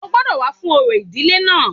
O gbọ́dọ̀ wá fún orò ìdílé náà